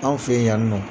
Anw fe yen yan nɔ